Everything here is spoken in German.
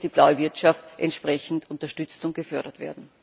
Hier muss die blaue Wirtschaft entsprechend unterstützt und gefördert werden.